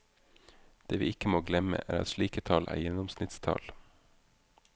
Det vi ikke må glemme, er at slike tall er gjennomsnittstall.